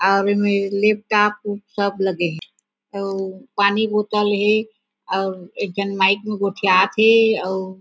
अउ ऐमे left top सब लगे हे अउ पानी बोत्तल हे अउ एक झन माइक में गोठियात थे अऊ--